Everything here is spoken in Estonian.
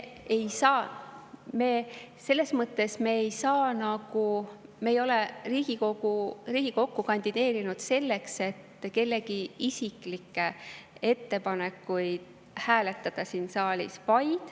Aga me ei saa, me ei ole Riigikokku kandideerinud selleks, et kellegi isiklikke ettepanekuid hääletada siin saalis.